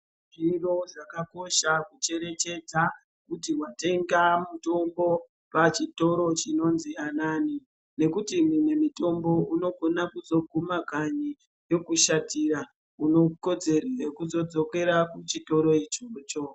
Zviro zvakakosha kucherechedza kuti watenga mutombo pachitoro chinonzi anani nekuti imwe mitombo unogona kuzoguma kanyi yokushatira . Une kodzero yekuzodzokera kuchitoro ichocho.